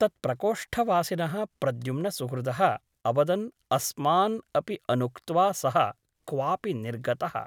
तत्प्रकोष्ठवासिनः प्रद्युम्नसुहृदः अवदन् अस्मान् अपि अनुक्त्वा सः क्वापि निर्गतः ।